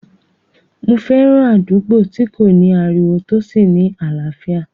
Mo fẹ́ràn àdúgbò tí kò ní ariwo tó sì ní àlàáfíà